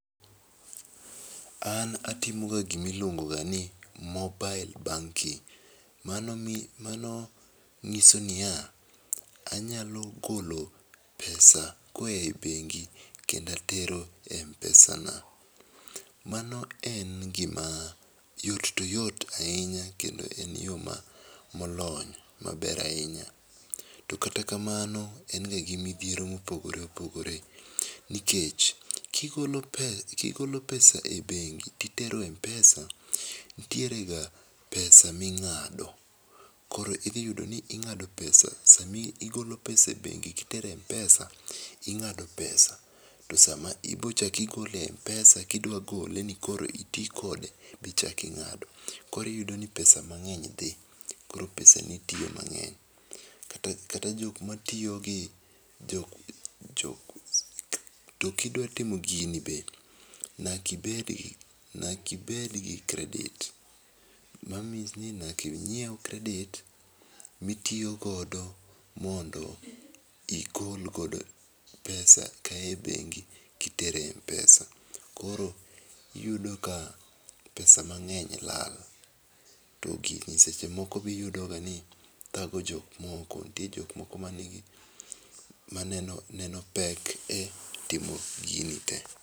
An atimo ga gi ma iluongo ga ni mobile banking. Mano mean mano ng'iso ni ya, anyalo golo pesa ko oa e bengi kendo atero e mpesana mano en gi ma yot to oyot ahinya kendo en yo ma olony maber ahinya to kata kamano en ga gi midhiero ma opogore opogorwe nikech ki igolo pesa ,ki igolo pesa e bengi ti itero e mpesa nitiere ga pesa mi ingado koro idhi yudo ni ing'ado pesa saa ma igolo pesa e bengi ki itero mpesa ing'ado pesa to saa ma ibiro chako igole e mpesa ki idwa gole ni mondo koro iti kode be ichako ing'ado koro iyudo ni pesa mang'eny dhi .Koro pesa ni tiyo mang'eny kata jok ma tiyo gi. To ki idwa timo gini be, nyaka ibed gi nyaka ibed gi kredit ma means ni nyaka ingiew credit mi itiyo godo mondo igol godo pesa ka a e bengi ki itero e mpesa koro iyudo ka pesa mang'eny lal to gigo seche moko be iyudo ga ni thago jomoko nitie jok moko ma ni gi ma neno pek mar timo gigi te.